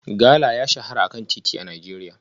Gala ya shahara a kan titi a Najeriya